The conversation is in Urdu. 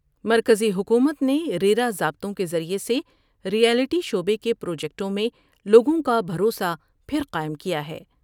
مرکزی حکومت نے ریرا ضابطوں کے ذریعے سے ریئلٹی شعبے کے پروجیکٹوں میں لوگوں کا بھروسہ پھر قائم کیا ہے ۔